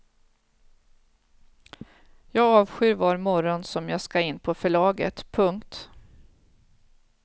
Jag avskyr var morgon som jag ska in på förlaget. punkt